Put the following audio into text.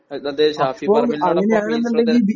ആ അതെ ഷാഫി പറമ്പിൽ നോടൊപ്പം ബിജെപി